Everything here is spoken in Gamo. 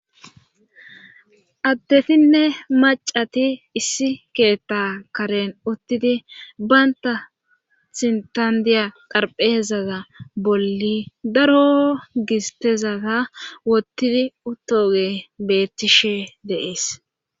addetinne macati issi keetta karen uttidi banta sintandiya qarpheezaza bolli daro gistezata wottidi uttoge bettishe deees